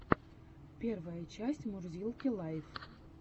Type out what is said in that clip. первая часть мурзилки лайв